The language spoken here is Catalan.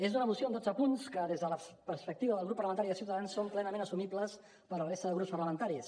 és una moció amb dotze punts que des de la perspectiva del grup parlamentari de ciutadans són plenament assumibles per la resta de grups parlamentaris